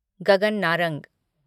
Gagan Narang